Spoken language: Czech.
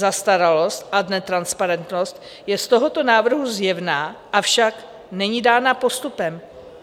Zastaralost a netransparentnost je z tohoto návrhu zjevná, avšak není dána postupem.